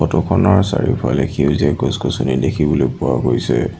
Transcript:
Photo খনৰ চাৰিওফালে সেউজীয়া গছ গছনি দেখিবলৈ পোৱা গৈছে।